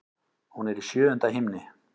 Hún er í sjöunda himni.